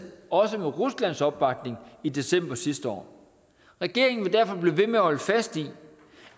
også med ruslands opbakning i december sidste år regeringen vil derfor blive ved med at holde fast i